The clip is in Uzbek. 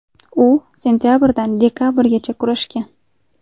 U sentabrdan dekabrgacha kurashgan.